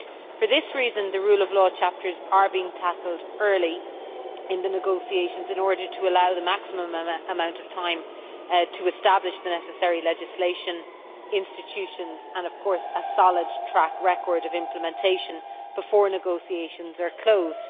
For this reason, the rule of law chapters are being tackled early in the negotiations in order to allow the maximum amount of time to establish the necessary legislation, institutions and, of course, a solid track record of implementation before negotiations are closed.